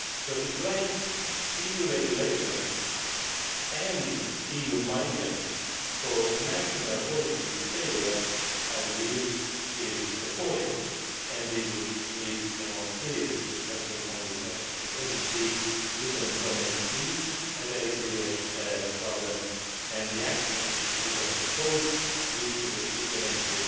East. So to blame EU regulations and EU migrants for the failure of national policies, is I believe appalling, and we would need a more serious discussion on these matters, because, indeed, youth unemployment is a very serious problem and the actions which we have proposed need to be implemented